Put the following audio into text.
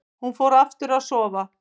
Hún fór aftur að sofa.